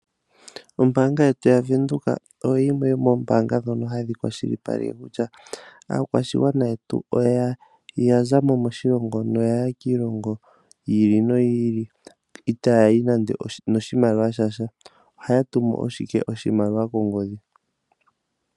Ombaanga yetu yavenduka oyo yimwe yomombaanga dhono hadhi kwashilipaleke kutya, aakwashigwana yetu oya zamo moshilongo noyaya kiilongo yiili noyiili ita yayi nande ono shimaliwa shasha ohaya tumu ashike oshimaliwa kongodhi.